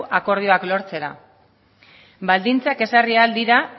akordioak lortzera baldintzak ezarri ahal dira